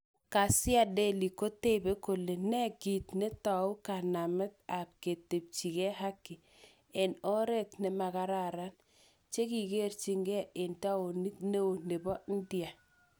Ghasia Delhi kotebe kole nee kit netau kanamet ab ketebchigee haki en oret nemakararan chekikerchinge en taonit neo nebo India